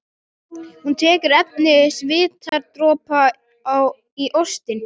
Hún tekur eftir svitadropa í óstinni.